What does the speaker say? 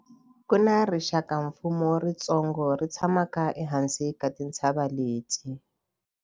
Ku na rixakamfuwo ritsongo ri tshamaka ehansi ka tintshava leti.